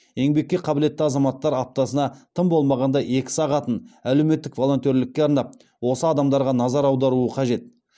еңбекке қабілетті азаматтар аптасына тым болмағанда екі сағатын әлеуметтік волонтерлікке арнап осы адамдарға назар аударуы қажет